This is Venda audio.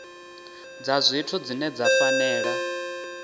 dza zwithu dzine dza fanela